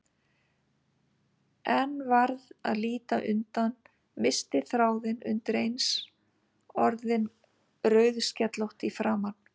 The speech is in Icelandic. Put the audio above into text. En varð að líta undan, missti þráðinn, undireins orðin rauðskellótt í framan.